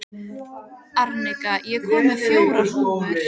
Arnika, ég kom með fjórar húfur!